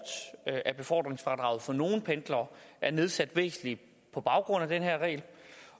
at befordringsfradraget for nogle pendlere er nedsat væsentligt på baggrund af den her regel